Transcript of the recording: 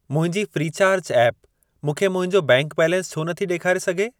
मुंहिंजी Freecharge app मूंखे मुंहिंजो बैंक बैलेंस छो नथी ॾेखारे सघे?